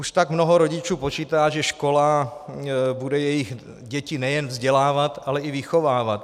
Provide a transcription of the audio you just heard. Už tak mnoho rodičů počítá, že škola bude jejich děti nejen vzdělávat, ale i vychovávat.